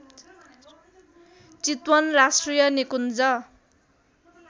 चितवन राष्ट्रिय निकुञ्ज